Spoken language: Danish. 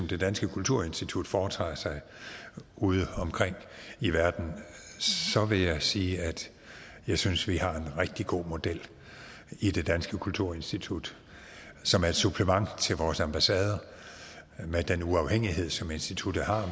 det danske kulturinstitut foretager sig ude omkring i verden så vil jeg sige at jeg synes vi har en rigtig god model i det danske kulturinstitut som er et supplement til vores ambassader med den uafhængighed som instituttet har